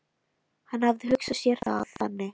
Hann hafði hugsað sér það þannig.